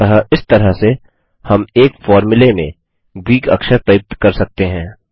अतः इस तरह से हम एक फ़ॉर्मूले में ग्रीक अक्षर प्रयुक्त कर सकते हैं